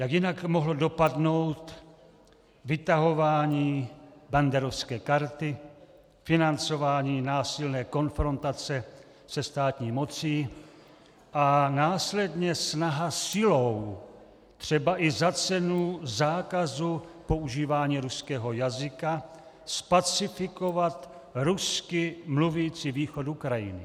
Jak jinak mohlo dopadnout vytahování banderovské karty, financování násilné konfrontace se státní mocí a následně snaha silou třeba i za cenu zákazu používání ruského jazyka zpacifikovat rusky mluvící východ Ukrajiny.